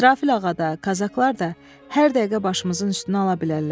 İsrafil ağa da, Kazaklar da hər dəqiqə başımızın üstünə ala bilərlər.